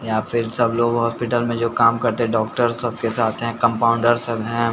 या फिर सब लोग हॉस्पिटल में जो काम करते हैं डॉक्टर सबके साथ हैं कंपाउंडर सब है।